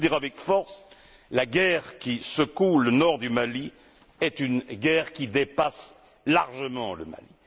Je veux le dire avec force la guerre qui secoue le nord du Mali est une guerre qui dépasse largement le Mali.